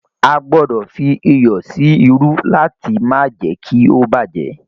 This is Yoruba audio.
A gbọdọ̀ fí iyọ̀ sí irú láti má jé kí ó bá jẹ́.